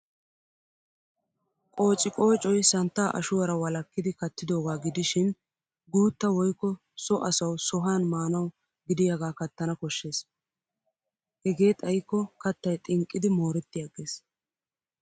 Qoociqoocoy santtaa ashuwaara wolakkidi kattidoogaa gidishin guuttaa woykko so asawu sohan maanawu gidiyaagaa kattana koshshes. Hegee xayikko kattay xinqqidi mooretti agges.